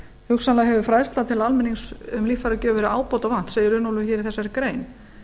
hugsanlega hefur fræðsla til almennings um líffæragjöf verið ábótavant segir runólfur í þessari grein